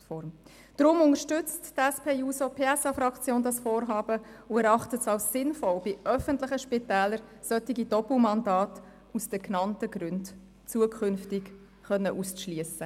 Die SP-JUSO-PSA-Fraktion unterstützt dieses Vorhaben und erachtet es als sinnvoll, bei öffentlichen Spitälern solche Doppelmandate aus den genannten Gründen zukünftig auszuschliessen.